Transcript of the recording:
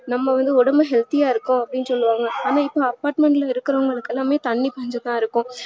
நம்ம வந்து ஒடம்பு healthy இருக்கும் அப்டின்னு சொல்லுவாங்க ஆனா இப்ப apartment ல இருக்குறவங்களுக்கு எல்லாமே தண்ணீர்பஞ்சம்தா இருக்கும்